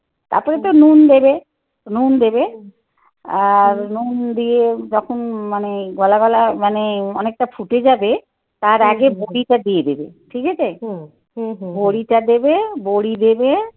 তারপরে তো নুন দেবে. নুন দেবে. আর নুন দিয়ে যখন মানে গলাগলা মানে অনেকটা ফুটে যাবে. তার আগে বড়িটা দিয়ে দেবে. ঠিক আছে? হুম. হুম হুম. বড়িটা দেবে বড়ি দেবে.